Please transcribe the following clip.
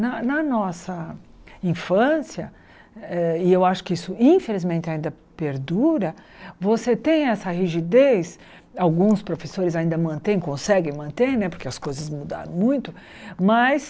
Na na nossa infância, eh e eu acho que isso, infelizmente, ainda perdura, você tem essa rigidez, alguns professores ainda mantêm, conseguem manter né, porque as coisas mudaram muito, mas...